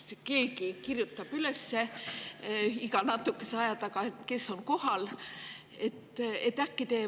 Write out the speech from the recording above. Kas keegi kirjutab üles iga natukese aja tagant, kes on kohal?